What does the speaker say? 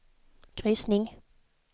kryssning